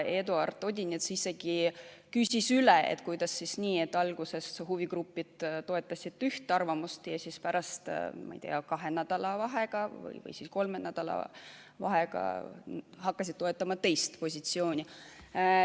Eduard Odinets isegi küsis üle, et kuidas siis nii, et alguses huvigrupid toetasid ühte arvamust ja siis pärast, ma ei tea, kahenädalase vahega või kolmenädalase vahega hakkasid toetama teist positsiooni.